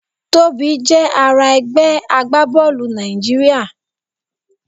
Tobi jẹ ara ẹgbẹ agbabọọlu Naijiria